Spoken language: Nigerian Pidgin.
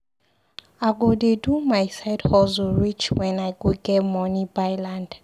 I go dey do my side hustle reach wen I go get money buy land.